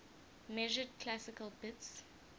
measured classical bits